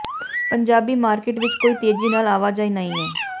Punjabi market ਵਿਚ ਕੋਈ ਤੇਜ਼ੀ ਨਾਲ ਆਵਾਜਾਈ ਨਹੀਂ ਹੈ